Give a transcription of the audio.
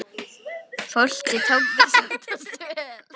Fólkið tók þessu oftast vel.